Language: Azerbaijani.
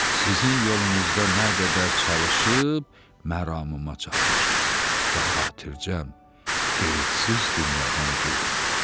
Sizin yolunuzda nə qədər çalışıb məramıma çatmışam və xatircəm qeydsiz dünyadan gedirəm.